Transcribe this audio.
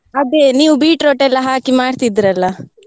ಅದೇ ನೀವು beetroot ಎಲ್ಲ ಹಾಕಿ ಮಾಡ್ತಿದ್ರಲ್ಲ.